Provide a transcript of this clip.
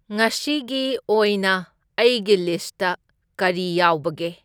ꯉꯁꯤꯒꯤ ꯑꯣꯏꯅ ꯑꯩꯒꯤ ꯂꯤꯁ꯭ꯠꯇ ꯀꯔꯤ ꯌꯥꯎꯕꯒꯦ